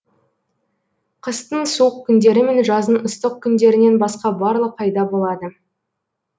қыстың суық күндері мен жаздың ыстық күндерінен басқа барлық айда болады